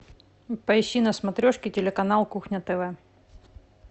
поищи на смотрешке телеканал кухня тв